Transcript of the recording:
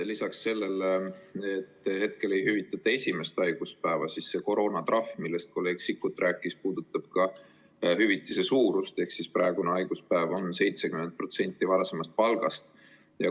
Lisaks sellele, et hetkel ei hüvitata esimest haiguspäeva, puudutab see koroonatrahv, millest kolleeg Sikkut rääkis, ka hüvitise suurust: praegune haiguspäev on 70% varasemast palgast.